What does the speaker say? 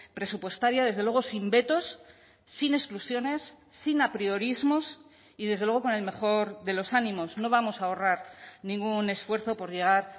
presupuestaria desde luego sin vetos sin exclusiones sin apriorismos y desde luego con el mejor de los ánimos no vamos a ahorrar ningún esfuerzo por llegar